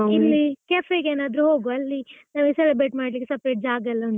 ಇಲ್ಲಿ cafe ಗೆ ಏನಾದ್ರು ಹೋಗುವ ಅಲ್ಲಿ celebrate ಮಾಡ್ಲಿಕ್ಕೆ separate ಜಾಗ ಎಲ್ಲ ಉಂಟಲ್ಲಾ.